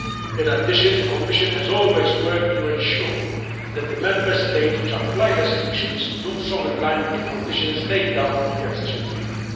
In addition, the Commission has always worked to ensure that the Member States which apply restrictions do so in line with the conditions laid down in the Accession Treaty.